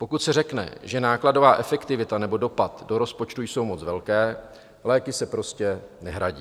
Pokud se řekne, že nákladová efektivita nebo dopad do rozpočtu jsou moc velké, léky se prostě nehradí.